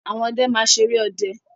Àwọn ọdẹ máa ṣeré ọdẹ.